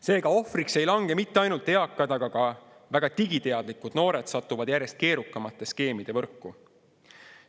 Seega, ohvriks ei lange mitte ainult eakad, vaid ka väga digiteadlikud noored satuvad järjest keerukamate skeemide võrku.